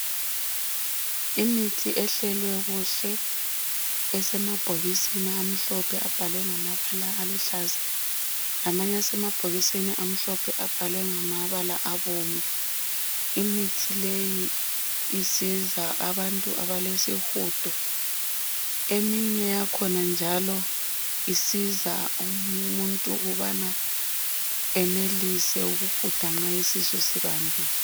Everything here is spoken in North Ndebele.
Imithi ehlelwe kuhle esemabhokisini amhlophe. Abhalwe ngamabala aluhlaza, Lamanye asemabhokisini amhlophe. Abhalwe ngamabala abomvu. Imithi leyi isiza abantu abalesihudo. Eminye yakhona njalo isiza umuntu ukubana enelise ukuhuda nxa isihudo sibambile.